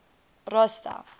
rosta